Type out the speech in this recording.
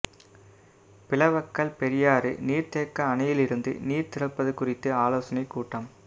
பிளவக்கல் பெரியாறு நீா்த்தேக்க அணையிலிருந்து நீா் திறப்பது குறித்த ஆலோசனைக் கூட்டம்